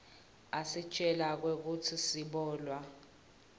asitjela kwekutsi sibolwa